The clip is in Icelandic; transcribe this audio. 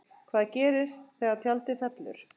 Hvað gerist þegar tjaldið fellur?